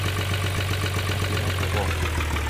афина кого